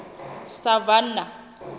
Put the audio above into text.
savannah